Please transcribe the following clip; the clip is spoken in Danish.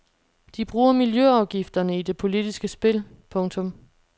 De bruger miljløafgifterne i det politiske spil. punktum